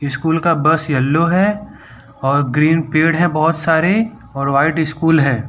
School का bus yellow है और ग्रीन पेड़ हैं बहोत सारे और व्हाइट स्कूल है।